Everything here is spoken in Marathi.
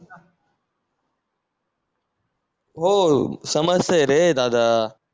हो समजतंय रे दादा